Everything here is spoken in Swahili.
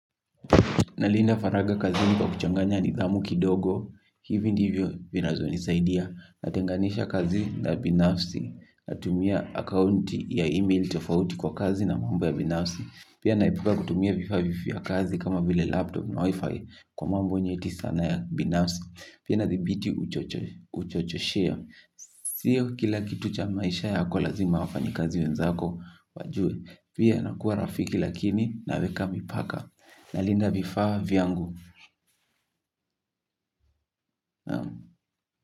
Nalinda faraga kazini kwa kuchanganya nidhamu kidogo. Hivi ndivyo vinazo nisaidia. Natenganisha kazi la binafsi. Natumia akaunti ya email tofauti kwa kazi na mambo ya binafsi. Pia naepuka kutumia vifaa vya kazi kama vile laptop na wi-fi. Kwa mambo nyeti sana ya binafsi pia nathibiti uchochoshea. Sio kila kitu cha maisha yako lazima wafanyikazi wenzako wajue. Pia nakua rafiki lakini naweka mipaka nalinda vifaa viangu.